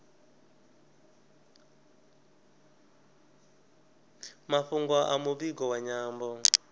mafhungo a muvhigo wa nyambo